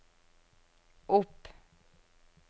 opp